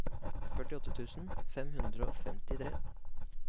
førtiåtte tusen fem hundre og femtitre